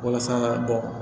Walasa ka bɔ